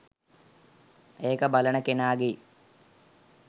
ඒක බලන කෙනාගේ.